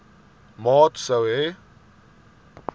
maat sou hê